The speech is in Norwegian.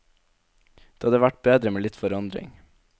Det hadde vært bedre med litt forandring.